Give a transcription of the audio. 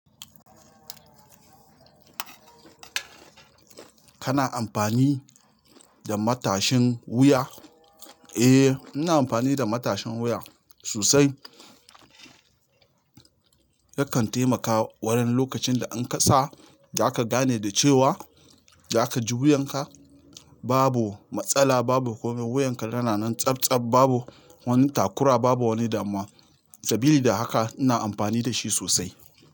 Kana amfani da matashin wuya? Eh, ina amfani da matashin wuya sosai. Yakan taimaka wurin lokacin da in kasa, zaka gane da cewa zaka ji wuyanka babu matsala, babu komai wuyanka yana nan tsabtsab, babu wani takura, babu wani damuwa. Sabili da haka ina amfani da shi sosai.